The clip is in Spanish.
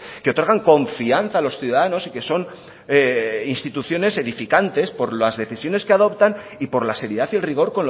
que otorgan confianza a los ciudadanos y que son instituciones edificantes por las decisiones que adoptan y por la seriedad y el rigor